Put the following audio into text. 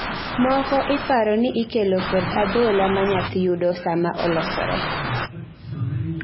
moko iparo ni ikelo kod adhola ma nyathi yudo sama olosore